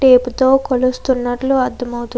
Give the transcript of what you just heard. Tape తో కోలుస్త్తునాటు మనకు అర్థం అవుతుంది.